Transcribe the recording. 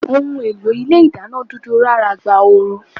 Ohùn èlò Ilé ìdáná dúdú rára gba ooru